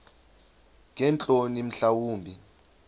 ngeentloni mhla wumbi